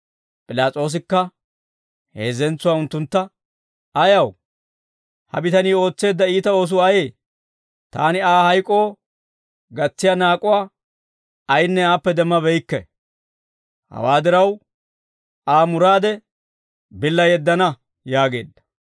P'ilaas'oosikka heezzentsuwaa unttuntta, «Ayaw? Ha bitanii ootseedda iita oosuu ayee? Taani Aa hayk'oo gatsiyaa naak'uwaa ayinne aappe demmabeykke; hawaa diraw, Aa muraade billa yeddana» yaageedda.